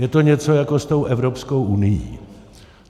Je to něco jako s tou Evropskou unií.